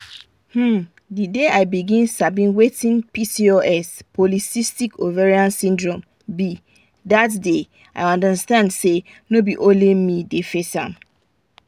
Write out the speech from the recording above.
hmm the day i begin sabi wetin pcos be na that day i understand say no be only me dey face am.